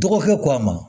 Dɔgɔkɛ ko a ma